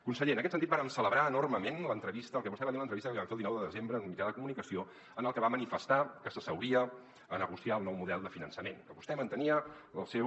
conseller en aquest sentit vàrem celebrar enormement el que vostè va dir a l’en·trevista que li van fer el dinou de desembre en un mitjà de comunicació en la que va manifestar que s’asseuria a negociar el nou model de finançament que vostè man·tenia el seu